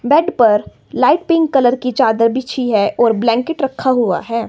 Bed पर light pink colour की चादर बिछी है और ब्लैंकेट रखा हुआ है।